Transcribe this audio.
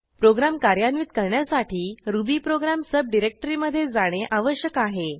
program कार्यान्वित करण्यासाठी Ruby program सबडिरेक्टरीमधे जाणे आवश्यक आहे